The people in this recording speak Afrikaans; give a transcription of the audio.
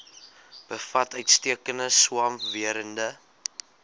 bevat uitstekende swamwerende